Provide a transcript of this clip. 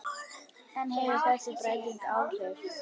En hefur þessi breyting áhrif?